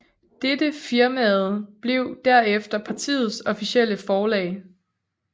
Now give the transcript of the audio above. Dette firmaet blev derefter partiets officielle forlag